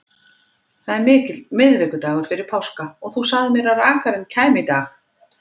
Það er miðvikudagur fyrir páska og þú sagðir mér að rakarinn kæmi í dag.